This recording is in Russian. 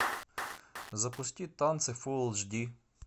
запусти танцы фул эйч ди